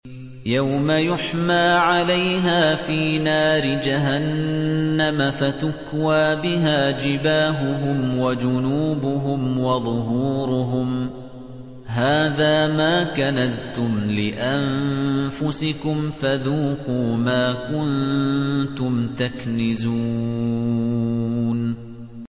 يَوْمَ يُحْمَىٰ عَلَيْهَا فِي نَارِ جَهَنَّمَ فَتُكْوَىٰ بِهَا جِبَاهُهُمْ وَجُنُوبُهُمْ وَظُهُورُهُمْ ۖ هَٰذَا مَا كَنَزْتُمْ لِأَنفُسِكُمْ فَذُوقُوا مَا كُنتُمْ تَكْنِزُونَ